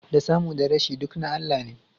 Da samu da rashi, duk na Allah ne